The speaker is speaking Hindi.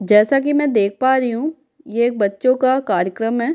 जैसा कि मैं देख पा रही हूँ ये एक बच्चों का कार्यक्रम है।